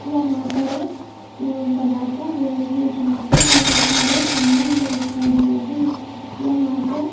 यहां पर एक अ बड़ा सा रूम है जहां पर बहोत सारे सामान बेच रहे हैं यहां पर--